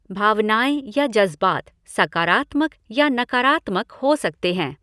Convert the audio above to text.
भावनाएँ या जज़्बात सकारात्मक या नकारात्मक हो सकते हैं।